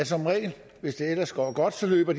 som regel hvis det ellers går godt løber